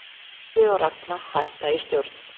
Gylfi og Ragna hætta í stjórn